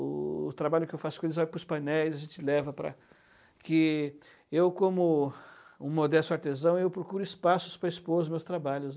O o trabalho que eu faço com eles vai para os painéis, a gente leva para que... Eu, como um modesto artesão, procuro espaços para expor os meus trabalhos.